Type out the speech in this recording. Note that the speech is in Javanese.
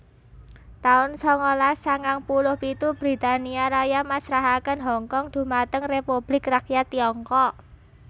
taun sangalas sangang puluh pitu Britania Raya masrahaken Hongkong dhumateng Republik Rakyat Tiongkok